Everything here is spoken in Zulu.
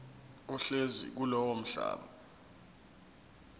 ohlezi kulowo mhlaba